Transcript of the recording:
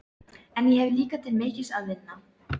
En ég hef líka til mikils að vinna.